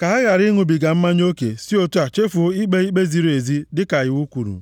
Ka ha ghara ịṅụbiga mmanya oke si otu a chefuo ikpe ikpe ziri ezi dịka iwu kwuru.